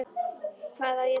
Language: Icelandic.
Og hvað á ég þá að gera?